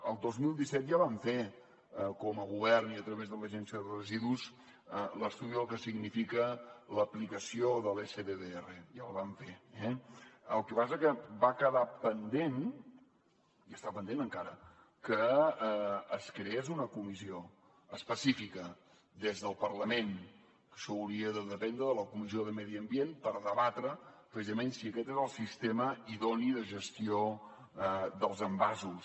el dos mil disset ja vam fer com a govern i a través de l’agència de residus l’estudi del que significa l’aplicació de l’sddr ja el vam fer eh el que passa és que va quedar pendent i està pendent encara que es creés una comissió específica des del parlament que això hauria de dependre de la comissió de medi ambient per debatre precisament si aquest és el sistema idoni de gestió dels envasos